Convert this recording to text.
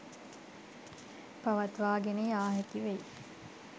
පවත්වාගෙන යා හැකි වෙයි